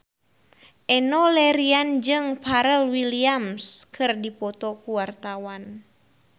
Enno Lerian jeung Pharrell Williams keur dipoto ku wartawan